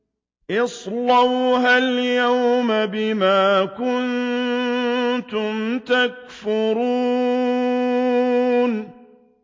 اصْلَوْهَا الْيَوْمَ بِمَا كُنتُمْ تَكْفُرُونَ